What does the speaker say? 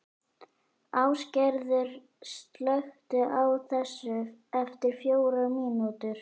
Ásgerður, slökktu á þessu eftir fjórar mínútur.